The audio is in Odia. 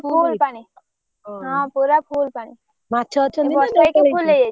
ଫୁଲ ପାଣି ହଁ ପୁରା full ପାଣି ଏଇ ବର୍ଷା ହେଇକି ପୁରା full ହେଇଯାଇଛି।